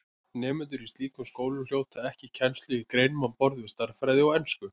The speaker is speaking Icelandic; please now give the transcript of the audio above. Nemendur í slíkum skólum hljóta ekki kennslu í greinum á borð við stærðfræði og ensku.